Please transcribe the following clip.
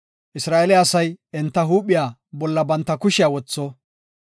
Isra7eele asay enta huuphiya bolla banta kushiya wotho.